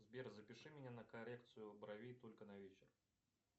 сбер запиши меня на коррекцию бровей только на вечер